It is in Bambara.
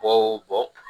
Bɔ o bɔ